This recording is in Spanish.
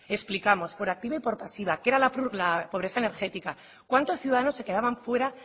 explicamos por activa y pasiva qué era la pobreza energética cuántos ciudadanos se quedaban fuera